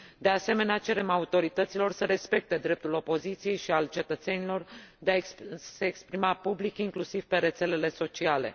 De asemenea, cerem autorităților să respecte dreptul opoziției și al cetățenilor de a se exprima public, inclusiv pe rețelele sociale.